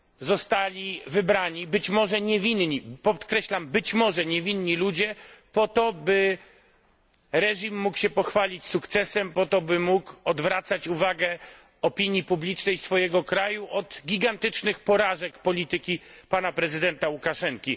zostali wybrani być może niewinni podkreślam, być może niewinni ludzie po to, by reżim mógł się pochwalić sukcesem, by mógł odwracać uwagę opinii publicznej swojego kraju od gigantycznych porażek polityki prezydenta Łukaszenki.